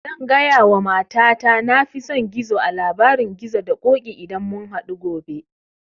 Zan gaya wa mata ta na fi son gizo a labarin gizo da ƙoƙi idan mun hadu gobe